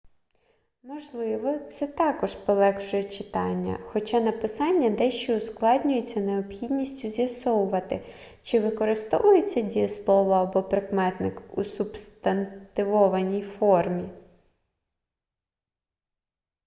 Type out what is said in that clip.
можливо це також полегшує читання хоча написання дещо ускладнюється необхідністю з'ясовувати чи використовується дієслово або прикметник у субстантивованій формі